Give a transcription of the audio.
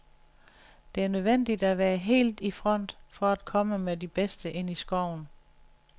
Det er nødvendigt at være helt i front, for at komme med de bedste ind i skoven.